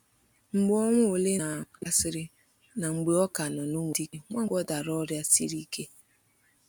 Mgbe ọnwa ole na ole gasịrị, na mgbe ọ ka nọ na Umudike, Nwankwo dara ọrịa siri ike.